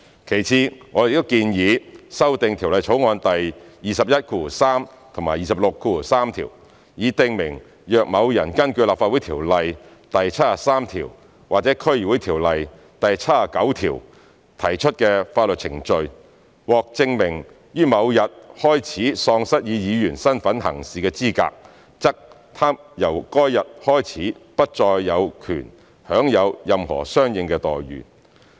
其次，我們亦建議修訂《條例草案》第213及263條，以訂明若某人根據《立法會條例》第73條或《區議會條例》第79條提出的法律程序，獲證明於某日開始喪失以議員身分行事的資格，則他由該日開始不再有權享有任何相應待遇。